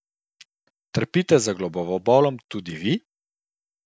Trpite za glavobolom tudi vi?